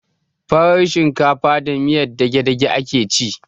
Farar shinkafa da miyan dagedage ake ci